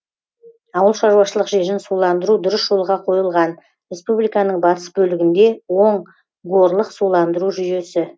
ауыл шаруашылық жерін суландыру дұрыс жолға қойылған республиканың батыс бөлігінде оң горлық суландыру жүйесі